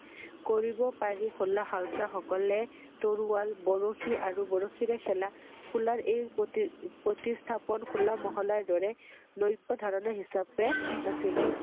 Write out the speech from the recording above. কৰিব পাৰি খোলা খালসা সকলে তৰোৱাল, বৰশী আৰু বৰশীৰে খেলা খোলাৰ এই প্ৰতি~প্ৰতিস্থাপনহোল্লা মহল্লাৰ দৰে নৈৱ ধৰণৰ হিচাপে আছিল